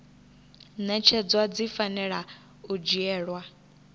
ṅetshedzwa dzi fanela u dzhielwa